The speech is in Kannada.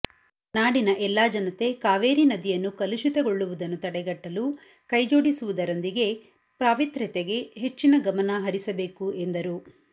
ನಾಡಿನ ಎಲ್ಲಾ ಜನತೆ ಕಾವೇರಿ ನದಿಯನ್ನು ಕಲುಷಿತಗೊಳ್ಳುವುದನ್ನು ತಡೆಗಟ್ಟಲು ಕೈಜೋಡಿಸುವುದರೊಂದಿಗೆ ಪಾವಿತ್ರ್ಯತೆಗೆ ಹೆಚ್ಚಿನ ಗಮನ ಹರಿಸಬೇಕು ಎಂದರು